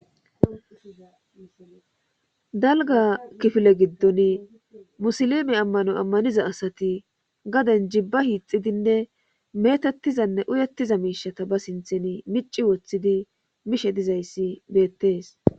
Dalga kifile giddon musilime ammano ammaniza asati gaden jibba hiixidinne meetettizanne uyettiza miishata ba sinthen mici woththidi mishe dizayssi beettees.